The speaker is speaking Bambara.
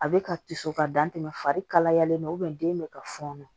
A bɛ ka to so ka dan tɛmɛ fari kalayalen don den bɛ ka fɔnɔ